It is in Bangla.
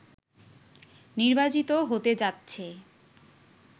নির্বাচিত হতে যাচ্ছে